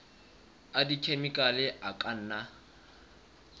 a dikhemikhale a ka nna